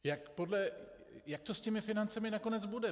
Jak to s těmi financemi nakonec bude.